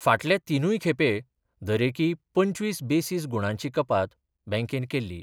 फाटल्या तीनूंय खेपे दरेकी पंचवीस बेसीस गुंणांची कपात बँकेन केल्ली.